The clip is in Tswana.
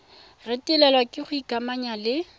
retelelwa ke go ikamanya le